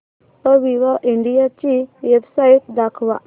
Aviva India ची website दाखवा